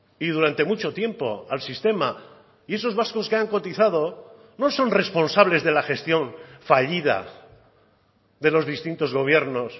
y durante mucho tiempo al sistema y esos vascos que han cotizado no son responsables de la gestión fallida de los distintos gobiernos